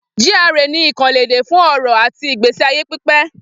G.R.A ni àkànlò èdè fún ọrọ̀ àti ìgbésí ayé pípé